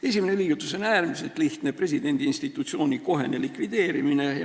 Esimene liigutus on äärmiselt lihtne: presidendi institutsiooni kohene likvideerimine.